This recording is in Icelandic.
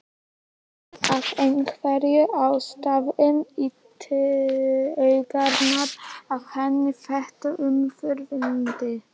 Fer af einhverjum ástæðum í taugarnar á henni þetta umburðarlyndi.